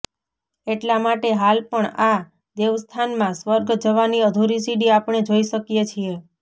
એટલા માટે હાલ પણ આ દેવસ્થાનમાં સ્વર્ગ જવાની અધુરી સીડી આપણે જોઈ શકીએ છીએ